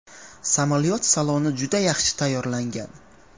Samolyot saloni juda yaxshi tayyorlangan.